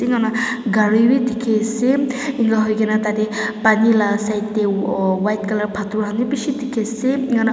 inika hoi kena gari bi dikhi ase inika hoi kena tate pani laga side te white color pathor khan bi bishi dikhi ase inika--